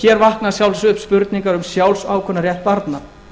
hér vakna að sjálfsögðu spurningar um sjálfsákvörðunarrétt barna